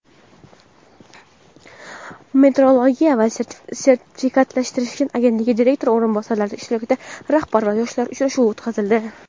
metrologiya va sertifikatlashtirish agentligi direktori o‘rinbosarlari ishtirokida "Rahbar va yoshlar" uchrashuvi o‘tkazildi.